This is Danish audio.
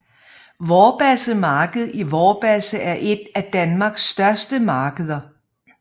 Vorbasse Marked i Vorbasse er et af Danmarks største markeder